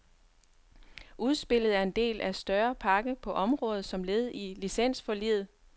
Udspillet er del af en større pakke på området som led i licensforliget.